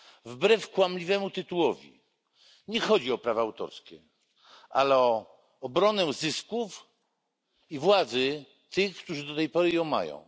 Wbrew kłamliwemu tytułowi nie chodzi o prawa autorskie, ale o obronę zysków i władzy tych, którzy do tej pory ją mają.